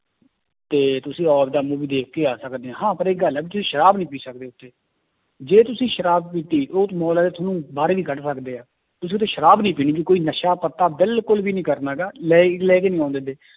ਤੇ ਤੁਸੀਂ ਆਪਦਾ movie ਦੇਖਕੇ ਆ ਸਕਦੇ ਆਂ, ਹਾਂ ਪਰ ਇੱਕ ਗੱਲ ਹੈ ਵੀ ਤੁਸੀਂ ਸ਼ਰਾਬ ਨੀ ਪੀ ਸਕਦੇ ਉੱਥੇ, ਜੇ ਤੁਸੀਂ ਸ਼ਰਾਬ ਪੀਤੀ ਉਹ ਤੇ ਮਾਲ ਵਾਲੇ ਤੁਹਾਨੂੰ ਬਾਹਰ ਵੀ ਕੱਢ ਸਕਦੇ ਹੈ, ਤੁਸੀਂ ਉੱਥੇ ਸ਼ਰਾਬ ਨੀ ਪੀਣੀ ਵੀ ਕੋਈ ਨਸ਼ਾ ਪੱਤਾ ਬਿਲਕੁਲ ਵੀ ਨੀ ਕਰਨਾ ਗਾ ਲੈ ਲੈ ਕੇ ਨੀ ਆਉਣ ਦਿੰਦੇ